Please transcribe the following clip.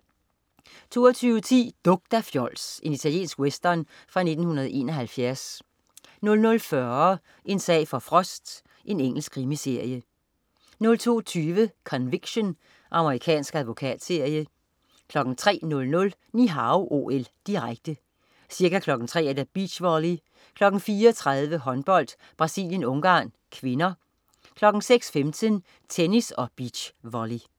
22.10 Duk dig, fjols! Italiensk western fra 1971 00.40 En sag for Frost. Engelsk krimiserie 02.20 Conviction. Amerikansk advokatserie 03.00 Ni Hao OL, direkte. Ca. kl. 3.00: Beach volley, kl. 4.30: Håndbold: Brasilien-Ungarn (k), kl. 6.15: Tennis og beach volley